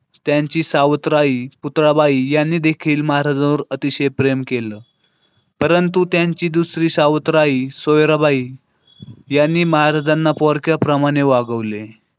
त्यांची सावत्र आई पुतळाबाई यांनी देखील महाराष्ट्रावर अतिशय प्रेम केलं. परंतु त्यांची दुसरी सावत्र आई सोयराबाई. यांनी महाराजांना पोरक्याप्रमाणे वागवले.